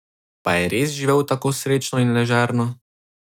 Pa je res živel tako srečno in ležerno?